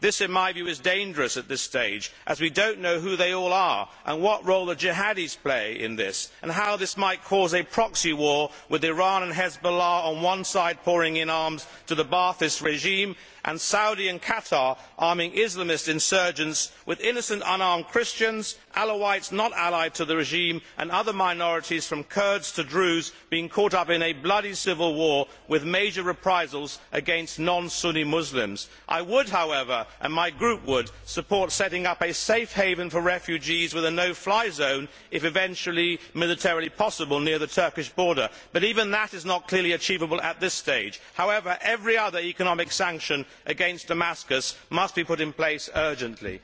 This, in my view, is dangerous at this stage as we do not know who they all are and what role the Jihadis play in this and how this might cause a proxy war with Iran and Hezbollah on one side pouring in arms to the Ba'athist regime and Saudi Arabia and Qatar arming Islamist insurgents, with innocent unarmed Christians, Alawites not allied to the regime and other minorities from Kurds to the Druze being caught up in a bloody civil war with major reprisals against non Sunni Muslims. However, I and my group would support setting up a safe haven for refugees with a no fly zone, if eventually militarily possible, near the Turkish border. But even that is not clearly achievable at this stage. However, every other economic sanction against Damascus must be put in place urgently.